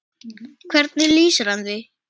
Hvernig lýsir hann því?